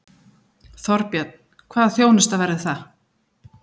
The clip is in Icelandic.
Þorbjörn: Hvaða þjónusta verður það?